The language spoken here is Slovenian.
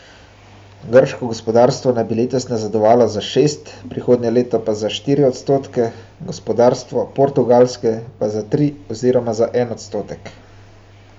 Grško gospodarstvo naj bi letos nazadovalo za šest, prihodnje leto pa za štiri odstotke, gospodarstvo Portugalske pa za tri oziroma za en odstotek.